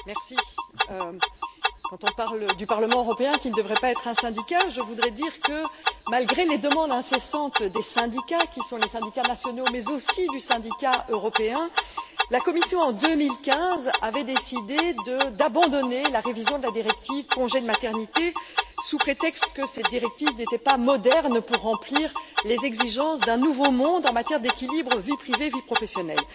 Madame la Présidente, quand on parle du Parlement européen, qui ne devrait pas être un syndicat, je voudrais dire que, malgré les demandes incessantes des syndicats nationaux, mais aussi du syndicat européen, la Commission, en 2015, avait décidé d'abandonner la révision de la directive congé de maternité sous prétexte que cette directive n'était pas moderne et ne remplissait pas les exigences d'un nouveau monde en matière d'équilibre entre vie privée et vie professionnelle.